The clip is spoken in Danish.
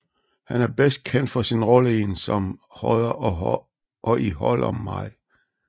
Han er bedst kendt for sin rolle i En som Hodder og i Hold om mig